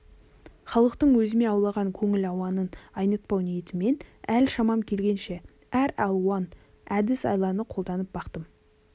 халықтың өзіме ауған көңіл ауанын айнытпау ниетімен әл-шамам келгенше әр алуан әдіс-айланы қолданып бақтым